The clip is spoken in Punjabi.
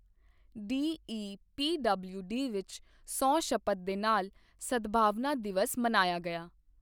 ਡੀਈਪੀਡਬਲਿਊਡੀ ਵਿੱਚ ਸਹੁੰ ਸ਼ਪਥ ਦੇ ਨਾਲ ਸਦਭਾਵਨਾ ਦਿਵਸ ਮਨਾਇਆ ਗਿਆ